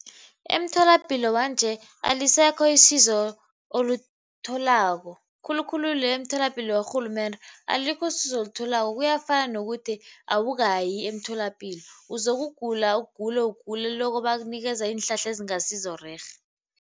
Emtholapilo wanje alisekho isizo olitholako khulukhulu le emtholapilo yorhulumende alikho usizo olitholako kuyafana nokuthi awukayi emtholapilo. Uzokugula, ugule, ugule lokho bakunikeza iinhlahla ezingasizorerhe.